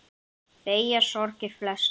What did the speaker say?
Beygja sorgir flesta.